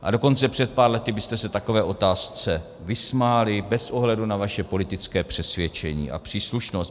A dokonce před pár lety byste se takové otázce vysmáli bez ohledu na své politické přesvědčení a příslušnost.